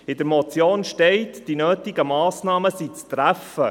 In der Motion heisst: Die nötigen Massnahmen sind zu treffen.